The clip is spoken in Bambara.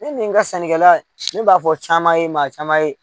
Ne nin n ka sannikɛla la, ne b'a fɔ caman ye, maa caman ye.